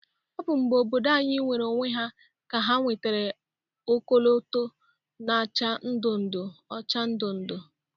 Ọbụ mgbe obodo anyị nweere onwe ha ka ha nwetara ọkọlọtọ na-acha ndu ndu, ọcha na ndu ndu.